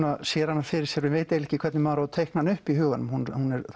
sér hana fyrir sér og veit ekki hvernig maður á að teikna hana upp í huganum hún